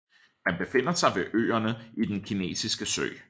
Man befinder sig ved øerne i den kinesiske sø